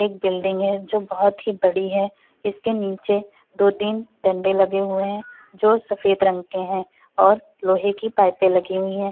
एक बिल्डिंग है जो बहुत ही बड़ी है। इसके नीचे दो-तीन डंडे लगे हुए हैं जो सफेद रंग के हैं और लोहे कि पाइपे लगी हुई है।